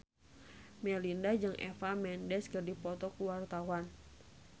Melinda jeung Eva Mendes keur dipoto ku wartawan